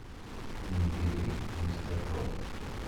набери мистер робот